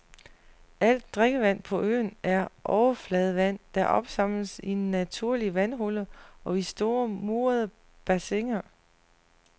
Alt drikkevand på øen er overfladevand, der opsamles i naturlige vandhuller og i store, murede bassiner.